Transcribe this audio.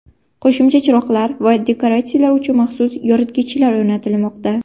Qo‘shimcha chiroqlar va dekoratsiyalar uchun maxsus yoritgichlar o‘rnatilmoqda.